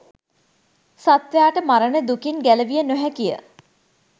සත්වයාට මරණ දුකින් ගැලවිය නොහැකිය.